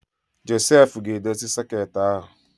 Josef ga-edozi soket ahụ